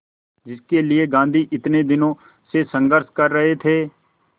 जिसके लिए गांधी इतने दिनों से संघर्ष कर रहे थे